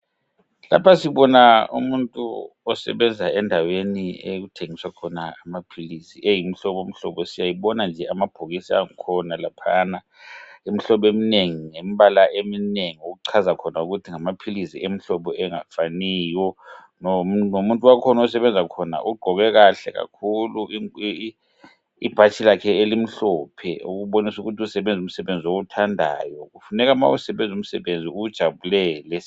Lapha sibona umuntu osebenza endaweni okuthengiswa khona amaphilisi eyi mhlobo mhlobo siyayibona nje amabhokisi angikhona laphayana Imihlobo eminengi lembala emnengi okuchaza khona ukuthi ngamaphilisi emhlobo angafaniyo . lomuntu wakhona osebenza khona ugqoke kahle kakhulu ibhatshi lakhe elimhlophe okubonisu kuthi usebenzu msebenzi owuthandayo .Kufuneka nxa usebenza umsebenzi uwujabulele.